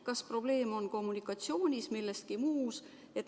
Kas probleem on kommunikatsioonis või milleski muus?